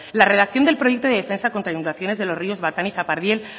la redacción del proyecto de defensa contra inundaciones de los ríos batán y zapardiel